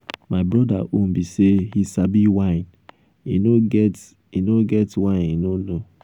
my broda own be say he sabi wine. e no get e no get wine he no know.